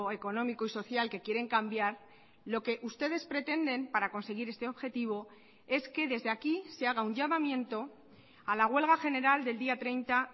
económico y social que quieren cambiar lo que ustedes pretenden para conseguir este objetivo es que desde aquí se haga un llamamiento a la huelga general del día treinta